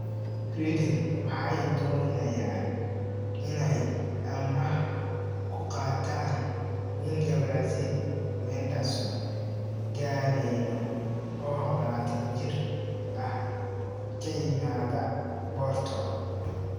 (Huddersfield Examiner) Reading waxay doonayaan inay amaah ku qaataan winga Brazil Wenderson Galeno, oo 21 jir ah, ka yimaada Porto.